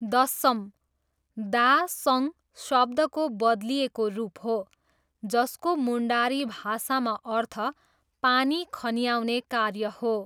दस्सम, दा सङ शब्दको बदलिएको रूप हो जसको मुन्डारी भाषामा अर्थ पानी खन्याउने कार्य हो।